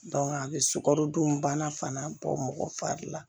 a bɛ sukarodun bana fana bɔ mɔgɔ fari la